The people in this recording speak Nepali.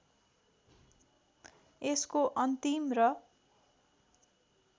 यसको अन्तिम र